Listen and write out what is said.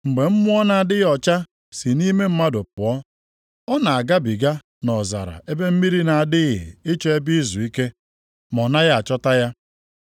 “Mgbe mmụọ na-adịghị ọcha si nʼime mmadụ pụọ, ọ na-agabiga nʼọzara ebe mmiri na-adịghị ịchọ ebe izuike, ma ọ naghị achọta ya.